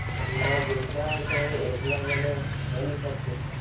એમાં જેટલા જાય એટલા જણે રમી શકે.